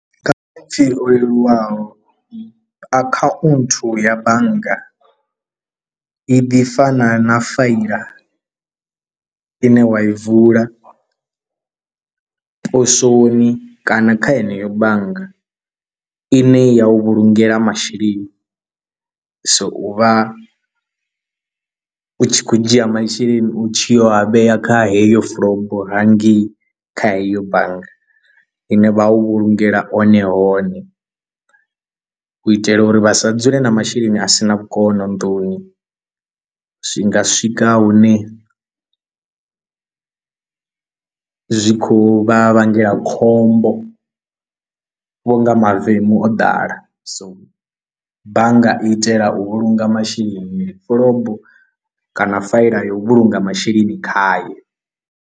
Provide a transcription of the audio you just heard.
Leluwaho akhaunthu ya bannga i ḓi fana na faila ine wa i vula posoni kana kha heneyo bannga i ne ya u vhulungela masheleni, so u vha u tshi khou dzhia masheleni u tshi yo a vhea kha heyo fulobo hangei kha heyo bannga ine vha u vhulungela one hone u itela uri vha sa dzule na masheleni a sina vhukono nnḓuni, zwi nga swika hune zwi khou vha vhangela khombo vho nga mavemu o ḓala, so bannga itela u vhulunga masheleni fulobo kana faela ya u vhulunga masheleni khayo.